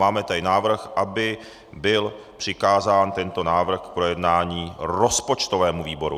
Máme tady návrh, aby byl přikázán tento návrh k projednání rozpočtovému výboru.